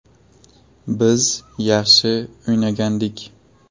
Biz yaxshi o‘ynagandik.